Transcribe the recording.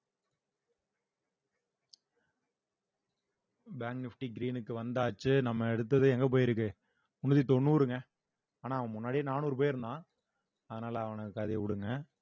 bank nifty green க்கு வந்தாச்சு நம்ம எடுத்தது எங்க போயிருக்கு முந்நூத்தி தொண்ணூறுங்க ஆனா அவன் முன்னாடியே நானூறு போயிருந்தான் அதனால அவனுக்கு அத விடுங்க